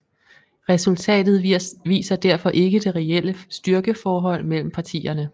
Resultatet viser derfor ikke det reelle styrkeforhold mellem partierne